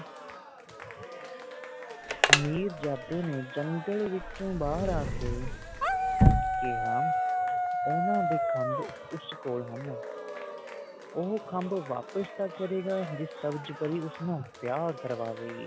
ਮਿਰਜਾਦੇ ਨੇ ਜੰਗਲ ਵਿੱਚੋ ਬਾਰ ਆਕੇ ਕਿਆ ਓਹਨਾ ਦੇ ਖੱਬ ਉਸ ਕੋਲ ਹਨ ਉਹ ਖੱਬ ਵਾਪਸ ਤਾ ਕਰੇਗਾ ਜੇ ਸਬਜ ਪਰੀ ਉਸ ਨਾਲ ਵੇਆਹ ਕਰਵਾਵੇਗੀ